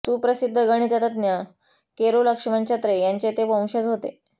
सुप्रसिद्ध गणितज्ञ केरो लक्ष्मण छत्रे यांचे ते वंशज होते